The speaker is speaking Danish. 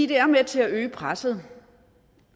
det er med til at øge presset